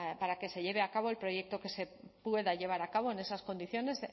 para que se lleve a cabo el proyecto que se pueda llevar a cabo en esas condiciones